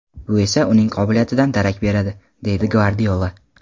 Bu esa uning qobiliyatidan darak beradi”, deydi Gvardiola.